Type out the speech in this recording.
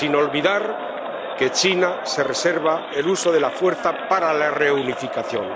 Sin olvidar que China se reserva el uso de la fuerza para la reunificación.